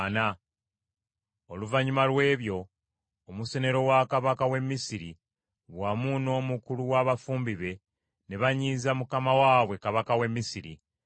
Oluvannyuma lw’ebyo omusenero wa kabaka w’e Misiri wamu n’omukulu wa bafumbi be ne banyiiza mukama waabwe kabaka w’e Misiri.